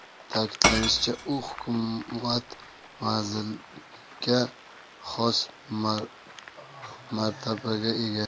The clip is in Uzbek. Ta’kidlanishicha, u hukumat vaziriga xos martabaga ega.